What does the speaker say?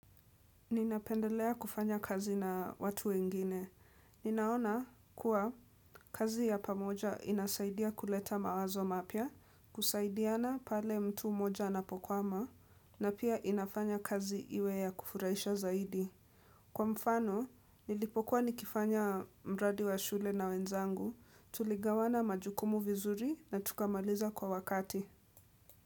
Ninapendelea kufanya kazi na watu wengine. Ninaona kuwa kazi ya pamoja inasaidia kuleta mawazo mapya, kusaidiana pale mtu mmoja anapokwama, na pia inafanya kazi iwe ya kufurahisha zaidi. Kwa mfano, nilipokuwa nikifanya mradi wa shule na wenzangu, tuligawana majukumu vizuri na tukamaliza kwa wakati.